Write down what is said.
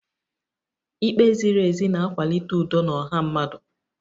Ikpe ziri ezi na-akwalite udo na ọha mmadụ